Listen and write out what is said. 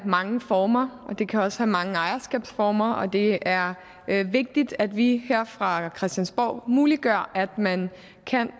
mange former og det kan også have mange ejerskabsformer og det er er vigtigt at vi her fra christiansborg muliggør at man kan